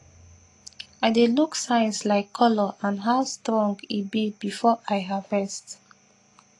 i dey look signs like colour and how strong e be before i harvest